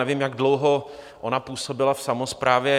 Nevím, jak dlouho ona působila v samosprávě.